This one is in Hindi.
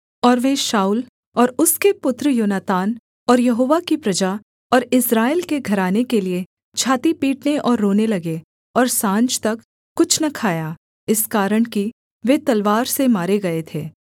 और वे शाऊल और उसके पुत्र योनातान और यहोवा की प्रजा और इस्राएल के घराने के लिये छाती पीटने और रोने लगे और साँझ तक कुछ न खाया इस कारण कि वे तलवार से मारे गए थे